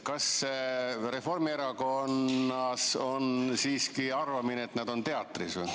Kas Reformierakonnas on siiski arvamine, et nad on teatris?